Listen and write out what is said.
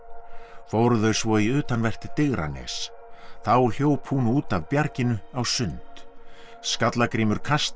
fóru þau svo í utanvert Digranes þá hljóp hún út af bjarginu á sund Skallagrímur kastaði